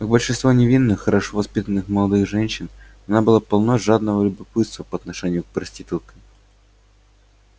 как большинство невинных хорошо воспитанных молодых женщин она была полна жадного любопытства по отношению к проституткам